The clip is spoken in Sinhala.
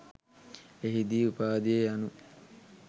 එහිදී උපාධිය යනු